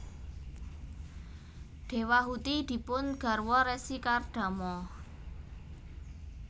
Dewahuti dipun garwa Resi Kardama